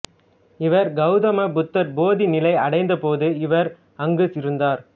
இவர் கௌதம புத்தர் போதி நிலை அடைந்த போது இவர் அங்கு இருந்தார்